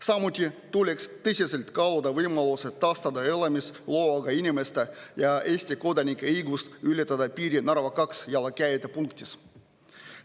Samuti tuleks tõsiselt kaaluda võimalust, et taastada elamisloaga inimeste ja Eesti kodanike õigust ületada piiri Narva 2 jalakäijate punktis.